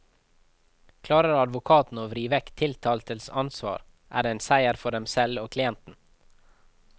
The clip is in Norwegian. Klarer advokatene å vri vekk tiltaltes ansvar, er det en seier for dem selv og klienten.